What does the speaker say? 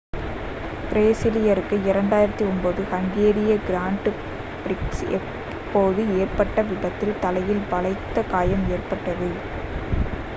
பிரேசிலியருக்கு 2009 ஹங்கேரிய கிராண்ட் பிரிக்ஸின் போது ஏற்பட்ட விபத்தில் தலையில் பலத்த காயம் ஏற்பட்டது